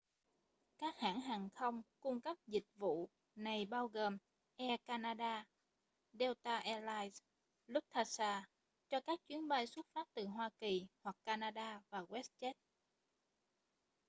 các hãng hàng không cung cấp các dịch vụ này bao gồm air canada delta air lines lufthansa cho các chuyến bay xuất phát từ hoa kỳ hoặc canada và westjet